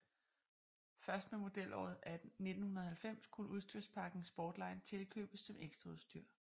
Først med modelåret 1990 kunne udstyrspakken Sportline tilkøbes som ekstraudstyr